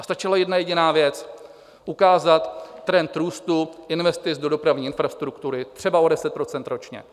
A stačila jedna jediná věc - ukázat trend růstu investic do dopravní infrastruktury třeba o 10 % ročně.